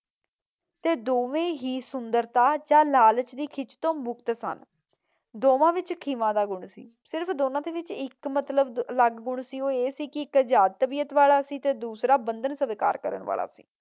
ਤੇ ਦੋਵੇਂ ਹੀ ਸੁੰਦਰਤਾ ਤੇ ਲਾਲਚ ਦੀ ਖਿੱਚ ਤੋਂ ਮੁਕਤ ਸਨ। ਦੋਵਾਂ ਵਿੱਚ ਖਿਮਾ ਦਾ ਗੁਣ ਸੀ। ਸਿਰਫ਼ ਦੋਵਾਂ ਦੇ ਵਿੱਚ ਇਕ ਅਲੱਗ ਗੁਣ ਸੀ ਉਹ ਇਹ ਸੀ ਕੀ ਇਕ ਆਜ਼ਾਦ ਤਬੀਅਤ ਵਾਲਾ ਸੀ ਤੇ ਦੁੱਸਰਾਂ ਬੰਧਨ ਸਵੀਕਾਰ ਕਰਨ ਵਾਲਾ ਸੀ।